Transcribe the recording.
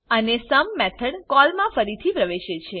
અને sum method call માં ફરીથી પ્રવેશે છે